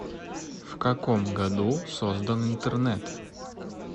в каком году создан интернет